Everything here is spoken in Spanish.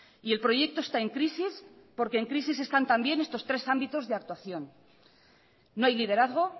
y el proyecto está en crisis porque en crisis están también estos tres ámbitos de actuación no hay liderazgo